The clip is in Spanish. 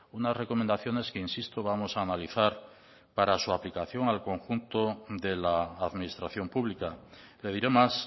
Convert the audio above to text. unas recomendaciones que insisto vamos a analizar para su aplicación al conjunto de la administración pública le diré más